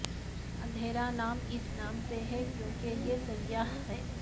اندھیرا نام اس نام سے ہے کیونکہ یہ سیاہ ہے